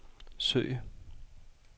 søg